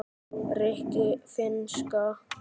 rikki- finnska